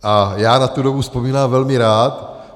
A já na tu dobu vzpomínám velmi rád.